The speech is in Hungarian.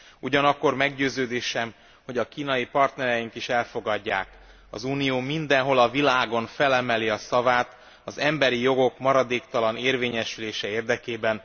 Ugyanakkor meggyőződésem, hogy a kínai partnereink is elfogadják, hogy az Unió mindenhol a világon felemeli a szavát az emberi jogok maradéktalan érvényesülése érdekében.